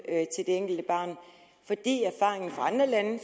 enkelte barn fordi erfaringen fra andre lande